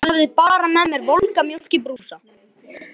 Ég hafði bara með mér volga mjólk í brúsa.